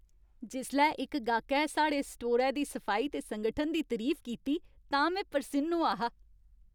जिसलै इक गाह्कै साढ़े स्टोरै दी सफाई ते संगठन दी तरीफ कीती तां में परसिन्न होआ हा।